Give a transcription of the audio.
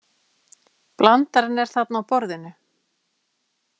Blandarinn er þarna á borðinu.